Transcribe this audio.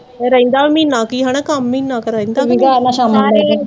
ਰਹਿੰਦਾ ਮਹੀਨਾ ਕੁ ਹੀ ਕੰਮ ਹਨਾ, ਮਹੀਨਾ ਕੁ ਰਹਿੰਦਾ